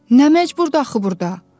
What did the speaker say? Nə məcburdur axı burda?